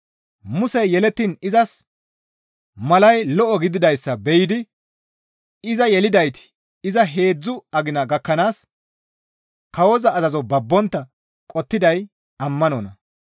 Musey yelettiin izas malay lo7o gididayssa be7idi iza yelidayti iza heedzdzu agina gakkanaas kawoza azazo babbontta qottiday ammanonna.